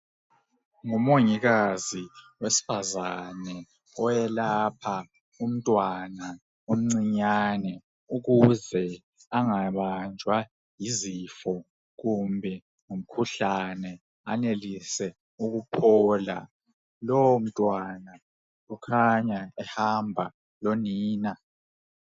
Ngumongikazi wesifazana oyelapha umntwana omncinyane ukuze engabanjwa yizifo kumbe umkhuhlane anelise ukuphola lowo mntwana ukhanya ehamba lonina.